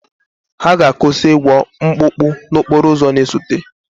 Ha ga-akwụsị ịgwọ mkpụkpụ n'okporo ụzọ na-esote.